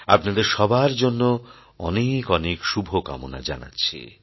আপনাদের সবার জন্য অনেক অনেক শুভকামনা জানাচ্ছি